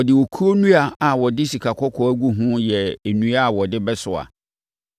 Ɔde okuo nnua a ɔde sikakɔkɔɔ agu ho yɛɛ nnua a wɔde bɛsoa.